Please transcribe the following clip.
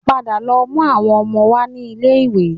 Padà lọ mú àwọn ọmọ wá ní ilé-iwé